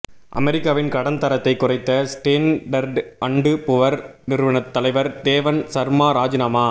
அமெரிக்காவின் கடன் தரத்தை குறைத்த ஸ்டேண்டர்டு அண்டு புவர் நிறுவனத் தலைவர் தேவன் சர்மா ராஜினாமா